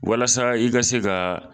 Walasa i ka se ka